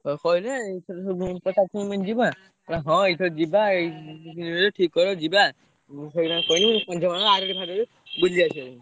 ସବୁ କହିଲେ ଏଇଥର ସବୁ ପୁଣି ଯିବୁ ନା ନା ହଁ ଏଇଥର ଯିବା ଏଇ ଦି ତିନିଦିନି ଭିତରେ ଠିକ୍ କର ଯିବା। ମୁଁ ସେଇ କଥା କହିଲି ଆରଡି ଫାରଡି ବୁଲି ଆସିଆ ପାଇଁ।